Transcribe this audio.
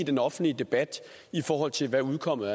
i den offentlige debat i forhold til hvad udkommet